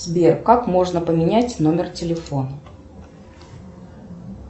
сбер как можно поменять номер телефона